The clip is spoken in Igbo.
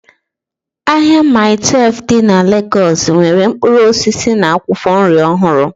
Ahịa Maii Twelfu dị na Legọs nwere mkpụrụ osisi na akwụkwọ nri ọhụrụ